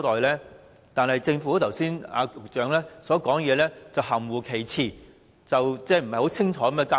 然而，局長發言時卻含糊其辭，未有清楚交代。